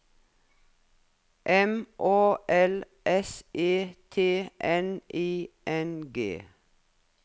M Å L S E T N I N G